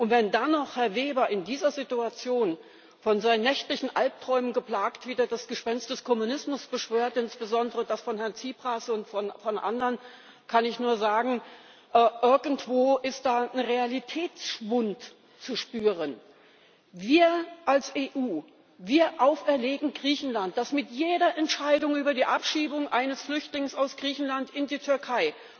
Und wenn dann noch Herr Weber in dieser Situation, von seinen nächtlichen Albträumen geplagt, wieder das Gespenst des Kommunismus beschwört, insbesondere das von Herrn Tsipras und von anderen, kann ich nur sagen Irgendwo ist da ein Realitätsschwund zu spüren. Wir als EU erlegen Griechenland auf, dass mit jeder Entscheidung über die Abschiebung eines Flüchtlings aus Griechenland in die Türkei